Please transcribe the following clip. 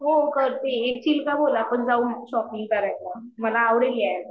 हो करते येशील का बोल आपण जाऊ शॉपिंग करायला मला आवडेल यायला.